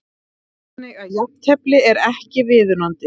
Þannig að jafntefli er ekki viðunandi?